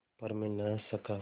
पर मैं न हँस सका